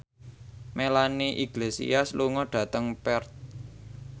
Melanie Iglesias lunga dhateng Perth